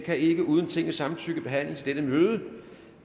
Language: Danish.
kan ikke uden tingets samtykke behandles i dette møde